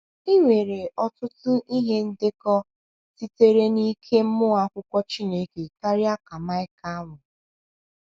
I nwere ọtụtụ ihe ndekọ sitere n’ike mmụọ Akwụkwọ Chineke karịa ka Maịka nwere.